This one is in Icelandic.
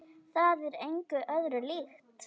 Það er engu öðru líkt.